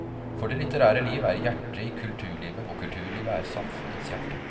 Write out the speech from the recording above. For det litterære liv er hjerte i kulturlivet, og kulturlivet er samfunnets hjerte.